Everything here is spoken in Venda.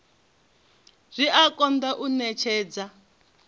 zwi a konḓa u ṅetshedza